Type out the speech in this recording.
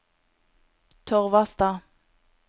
Torvastad